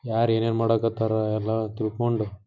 ಯಾರೇ ಏನೆ ಮಾಡಾಕತಾರ ಎಲ್ಲ ತಿಳ್ಕೊಂಡು --